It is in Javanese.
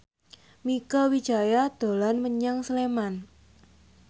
Mieke Wijaya dolan menyang Sleman